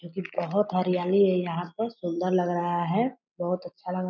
जो की बहुत हरियाली है यहाँ पर सुन्दर लग रहा है। बहुत अच्छा लग --